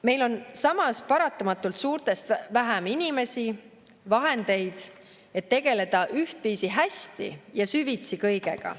Meil on samas paratamatult suurtest vähem inimesi, vahendeid, et tegeleda ühtviisi hästi ja süvitsi kõigega.